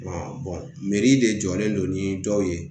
de jɔlen do ni dɔw ye